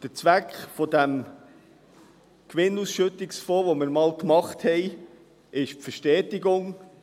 Der Zweck dieses Gewinnausschüttungsfonds, den wir einmal errichtet haben, war die Verstetigung.